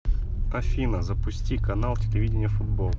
афина запусти канал телевидения футбол